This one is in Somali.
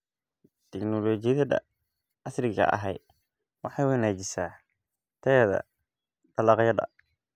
Tignoolajiyada casriga ahi waxay wanaajisaa tayada dalagyada.